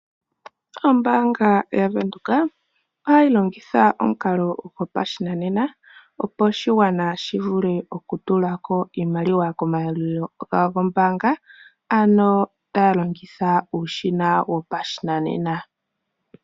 Ombaanga yavenduka ohayi longitha omukalo gopashinanena opo oshigwana shi vule okutulako iimaliwa komayalulilo gawo gombaanga ano taya longitha uushina wopashinanena.